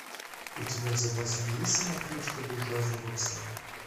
у тебя в запасе есть самокритика буржуазного пса